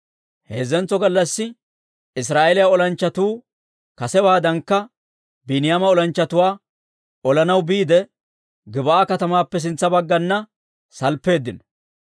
Heezzantso gallassi Israa'eeliyaa olanchchatuu kasewaadankka Biiniyaama olanchchatuwaa olanaw biide, Gib'aa katamaappe sintsa bagganna salppeeddino.